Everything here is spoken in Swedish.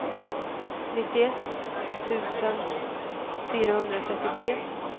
nittioett tusen fyrahundratrettiotre